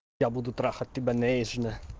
я буду трахать тебя нежно